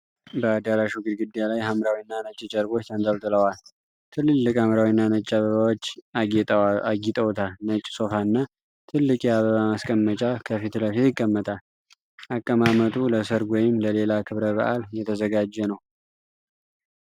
በአዳራሹ ግድግዳ ላይ ሐምራዊና ነጭ ጨርቆች ተንጠልጥለዋል። ትልልቅ ሐምራዊና ነጭ አበባዎች አጌጠውታል። ነጭ ሶፋና ትልቅ የአበባ ማስቀመጫ ከፊት ለፊት ይቀመጣል። አቀማመጡ ለሠርግ ወይም ለሌላ ክብረ በዓል የተዘጋጀ ነው።